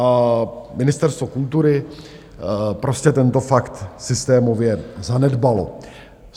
A Ministerstvo kultury prostě tento fakt systémově zanedbalo.